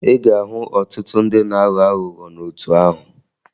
Ị ga-ahụ ọtụtụ ndị na-aghọ aghụghọ n'otu ahụ